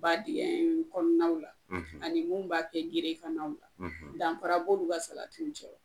Ba dingɛ in kɔnɔnaw la , ani munnu b'a kɛ geren kan naw la , danfa b'olu ka salatiw cɛ wa?